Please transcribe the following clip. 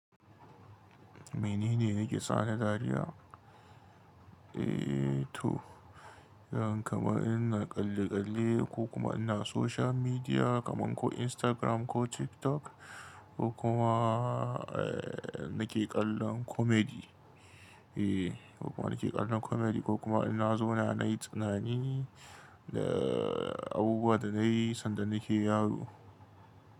Menene nake sane dariya? Eh to, yawan kama ina kalle kalle ko kuma ina social media kaman ko Instagram ko TikTok ko kuma eh nake kallon comedy. Eh ko kuma nake kallon comedy ko kuma ina zauna nayi tunani da abubuwan da nayi sanda nake yaro.